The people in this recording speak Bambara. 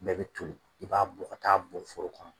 bɛɛ bi toli i b'a bɔ ka ta'a bɔn foro kɔnɔ